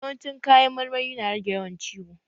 Yawan ci kayan marmari na rage yawan ciwo